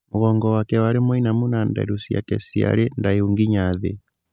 Mũgongo wake warĩ mũinamu na nderu ciake ciarĩ ndaihu nginya thĩ.